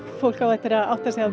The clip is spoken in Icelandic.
fólk á eftir að átta sig á því